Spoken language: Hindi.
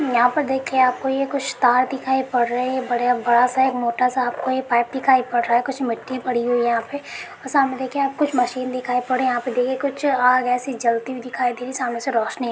यहाँ पर देखिये आपको ये कुछ तार दिखाई पड़ रही बड़े-बड़ा सा एक मोटा सा आपको ये पाइप दिखाई पद रहा है कुछ मिटी पड़ी हुई है यहाँ पे सामने देखिये आपको कुछ मशीन दिखाई पड़ रही यहाँ पर देखिये कुछ आग ऐसी जलती हुई दिखाई देगी सामने से रौशनी अ--